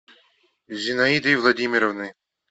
зинаидой владимировной